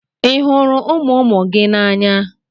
Ị hụrụ ụmụ ụmụ gị n'anya?